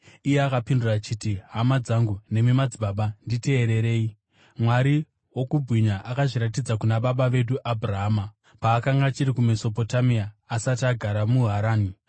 Iye akapindura achiti, “Hama dzangu nemi madzibaba, nditeererei! Mwari wokubwinya akazviratidza kuna baba vedu Abhurahama paakanga achiri kuMesopotamia, asati agara muHarani.